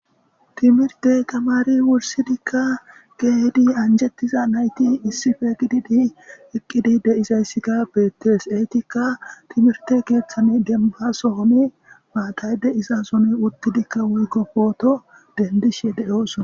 Timirtte tameri wurssidika kehidi anjjetiza naytti issippe giiddidi eqqidi deiizayssika bettes eetikka timmirtte keththan dembba sohoni maatay deiizasson uttidika woykko pootto denddishe do'ossona.